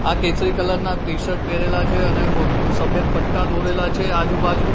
આ કેસરી કલર ના ટીશર્ટ પેરેલા છે અને વ સફેદ પટ્ટા દોરેલા છે આજુબાજુ.